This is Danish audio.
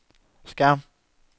skærm